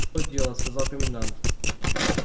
и то дело сказал комендант